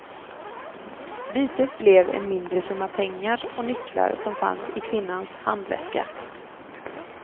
Bytet blev en mindre summa pengar och nycklar som fanns i kvinnans handväska.